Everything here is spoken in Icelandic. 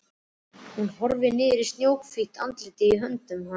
Hún horfir niður í snjóhvítt andlitið í höndum hans.